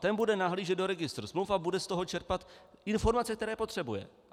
Ten bude nahlížet do registru smluv a bude z toho čerpat informace, které potřebuje.